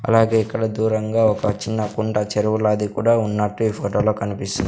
అలాగే ఇక్కడ దూరంగా ఒక చిన్న కుంట చెరువు లాది కూడా ఉన్నట్టు ఈ ఫోటో లో కనిపిస్--